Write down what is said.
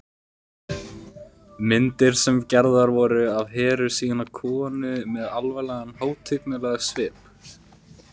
Myndir sem gerðar voru af Heru sýna konu með alvarlegan hátignarlegan svip.